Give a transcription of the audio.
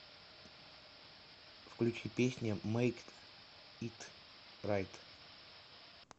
салют включи песня мейк ит райт